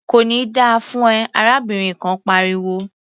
"Kò ní da fún ẹ!" arábìnrin kan pariwo.